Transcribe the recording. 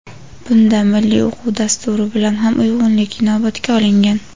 bunda milliy o‘quv dasturi bilan ham uyg‘unlik inobatga olingan.